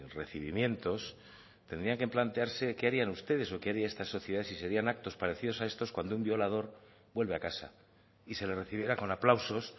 recibimientos tendrían que plantearse qué harían ustedes o qué haría esta sociedad si serían actos parecidos a estos cuando un violador vuelva a casa y se le recibiera con aplausos